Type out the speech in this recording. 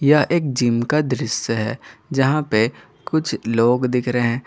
यह एक जिम का दृश्य है जहां पे कुछ लोग दिख रहे--